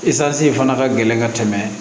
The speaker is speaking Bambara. in fana ka gɛlɛn ka tɛmɛ